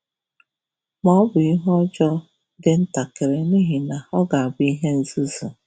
Ma ọ bụ ihe ọjọọ dị ntakịrị n'ihi na ọ ga-abụ ihe nzuzo.